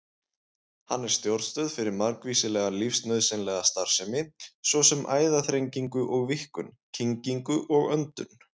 Hann er stjórnstöð fyrir margvíslega lífsnauðsynlega starfsemi, svo sem æðaþrengingu og-víkkun, kyngingu og öndun.